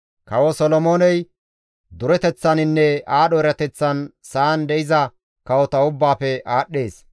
Kawo Solomooney dureteththaninne aadho erateththan sa7an de7iza kawota ubbaafe aadhdhees.